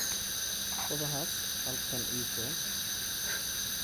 Koobkaas halkan ii keen